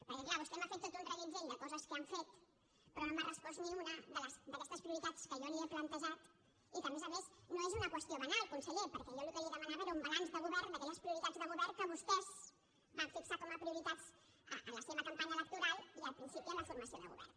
perquè és clar vostè m’ha fet tot un reguitzell de coses que han fet però no m’ha respost ni una d’aquestes prioritats que jo li he plantejat i que a més a més no és una qüestió banal conseller perquè jo el que li demanava era un balanç de govern d’aquelles prioritats de govern que vostès van fixar com a prioritats en la seva campanya electoral i al principi en la formació de govern